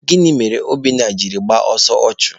Gịnị mere Obinna jiri gbaa ọsọ ọchụ?